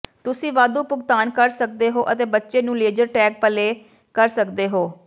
ਤੁਸੀਂ ਵਾਧੂ ਭੁਗਤਾਨ ਕਰ ਸਕਦੇ ਹੋ ਅਤੇ ਬੱਚੇ ਨੂੰ ਲੇਜ਼ਰ ਟੈਗ ਪਲੇ ਕਰ ਸਕਦੇ ਹੋ